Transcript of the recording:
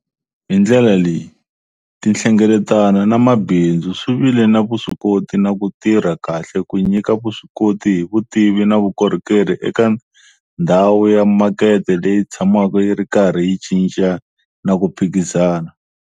Hi ndlela leyi, tinhlengeletano na mabindzu swi vile na vuswikoti na ku tirha kahle ku nyika vuswikoti hi vutivi na vukorhokeri eka ndhawu ya makete leyi tshamaka yi ri karhi yi cinca na ku phikizana.